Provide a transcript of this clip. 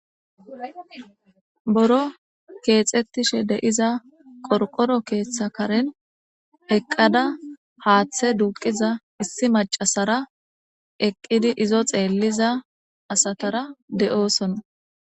Buro keexetixa qorqoro keetha Karen eqada haathe duuqiza issi macasara eqidi izo xeeliza asatara de'osona.